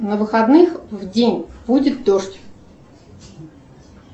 на выходных в день будет дождь